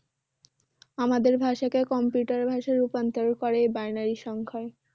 আমাদের ভাষাকে computer এর ভাষায় রূপান্তর করে এই Binary সংখ্যায়